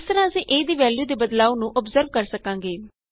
ਇਸ ਤਰ੍ਹਾਂ ਅਸੀਂ a ਦੀ ਵੈਲਯੂ ਦੇ ਬਦਲਾਉ ਨੂੰ ਅੋਬਜ਼ਰਵ ਕਰ ਸਕਾਂਗੇ